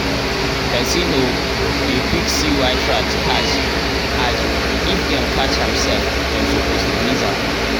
person o dey quick see white rat catch ad if dem catch am sef dem suppose release am